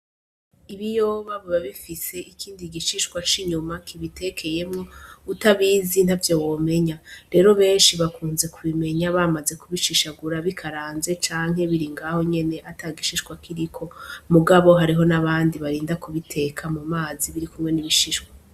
Ibiyoba biba bifise ikindi gishiswa c'inyuma utabizi ntavyo womenya rero benshi bakunze kubimenya bamaze kubishishagura bikaranze canke biri ngaho nyene atagishishwa kiriko mugabo hariho n'abandi barinda kubiteka mu mazi biri kumwe n'ibishishwa.